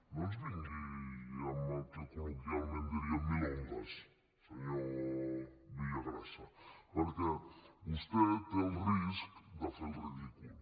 no ens vingui amb el que col·loquialment en diríem milongas senyor villagrasa perquè vostè té el risc de fer el ridícul